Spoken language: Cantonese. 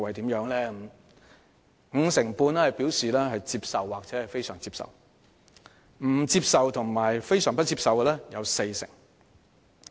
結果顯示，有五成半受訪者表示接受或非常接受，而不接受或非常不接受的則佔四成。